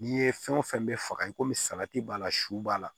N'i ye fɛn o fɛn bɛ faga i komi salati b'a la su b'a la